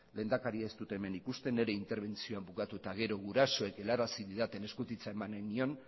lehendakaria ez dut hemen ikusten nire interbentzioa bukatu eta gero gurasoek helarazi didaten eskutitza eman nahi nion